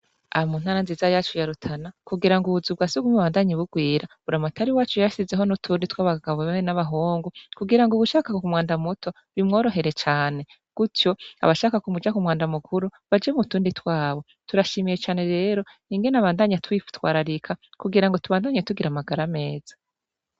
Aha mu ntara nziza yacu yarutana kugira ngo ubuzu bwasugumwe bubandanye bugwira buramatari wacu yashizeho n'utundi tw'abagagabo hamwe n'abahungu kugira ngo uwushaka umwanda muto bimworohere cane gutyo abashaka kuja ku mwanda mukuru baje mu tundi twabo turashimiye cane rero ingene abandanya atwitwararika kugira ngo tubandanye tugira amagara ameza.